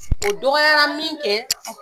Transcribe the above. O dɔgɔyara min kɛ